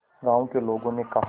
गांव के लोगों ने कहा